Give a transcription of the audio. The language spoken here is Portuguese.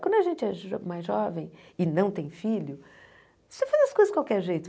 Quando a gente é jo mais jovem e não tem filho, você faz as coisas de qualquer jeito.